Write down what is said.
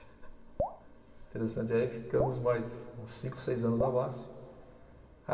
Interessante, aí ficamos mais uns cinco, seis anos na Basfe.